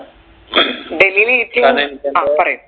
ഡൽഹിൽ ഏറ്റവും ആ പറയു